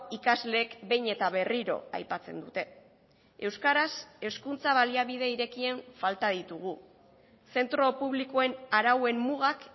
ikasleek behin eta berriro aipatzen dute euskaraz hezkuntza baliabide irekien falta ditugu zentro publikoen arauen mugak